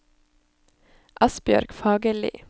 Asbjørg Fagerli